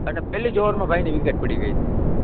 અને પહેલી જ ઓવરમાં ભાઈની વિકેટ પડી ગઈ હતી.